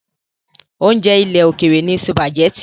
Oúnjẹ ilẹ̀ òkèrè ni sùpàgẹ́tì.